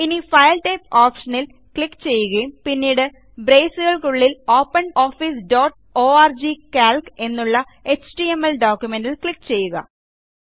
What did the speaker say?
ഇനിFile type ഓപ്ഷനിൽ click ചെയ്യുക പിന്നീട് ബ്രേസുകൾക്കുള്ളിൽ ഓപ്പനോഫീസ് ഡോട്ട് ഓർഗ് കാൽക്ക് എന്നുള്ള എച്ടിഎംഎൽ ഡോക്യുമെന്റ്ൽക്ലിക്ക് ചെയ്യുക